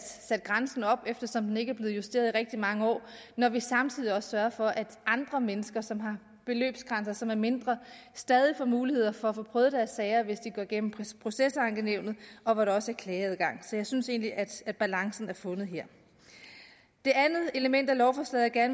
grænsen op eftersom den ikke er blevet justeret i rigtig mange år når vi samtidig sørger for at andre mennesker som har beløbsgrænser som er mindre stadig får mulighed for at få prøvet deres sager hvis de går gennem procesankenævnet og hvor der også er klageadgang så jeg synes egentlig at at balancen er fundet her det andet element i lovforslaget jeg